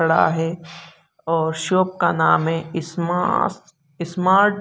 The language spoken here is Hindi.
खड़ा है और शॉप का नाम है स्मार्ट --